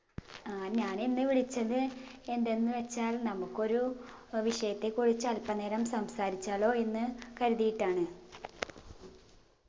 ആഹ് ഞാനിന്ന് വിളിച്ചത് എന്തെന്ന് വെച്ചാൽ നമുക്കൊരു ഏർ വിഷയത്തെ കുറിച്ച് അൽപ്പ നേരം സംസാരിച്ചാലോ എന്ന് കരുതിയിട്ടാണ്